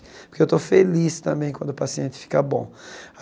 Porque eu estou feliz também quando o paciente fica bom.